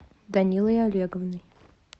данилой олеговной